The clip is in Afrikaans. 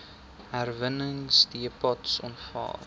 herwinningsdepots aanvaar